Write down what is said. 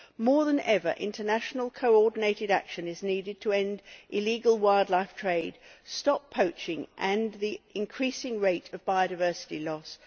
More than ever, international coordinated action is needed to end illegal wildlife trade, stop poaching and the increasing rate of biodiversity loss.